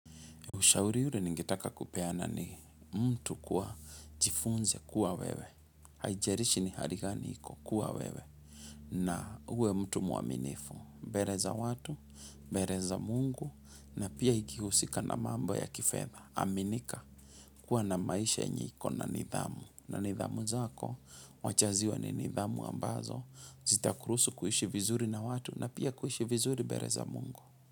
Ushauri ule ningetaka kupeana ni mtu kuwa jifunze kuwa wewe. Haijarishi ni hari gani iko kuwa wewe na uwe mtu mwaminifu. Mbere za watu, bere za mungu na pia ikihusika na mambo ya kifedha. Aminika kuwa na maisha yenye ikona nidhamu. Na nidhamu zako, wacha ziwe ni nidhamu ambazo, zita kuruhusu kuishi vizuri na watu na pia kuishi vizuri bere za mungu.